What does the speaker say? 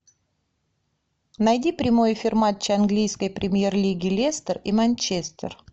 найди прямой эфир матча английской премьер лиги лестер и манчестер